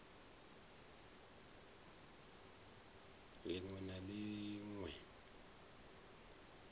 lin we na lin we